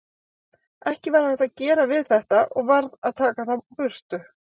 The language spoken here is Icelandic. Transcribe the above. Ekki var hægt að gera við þetta og varð að taka þá burtu.